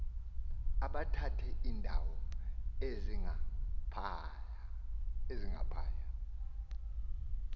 uthabathe iindawo ezingaphaya